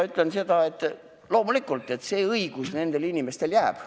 Ma ütlen seda, et loomulikult see õigus nendele inimestele jääb.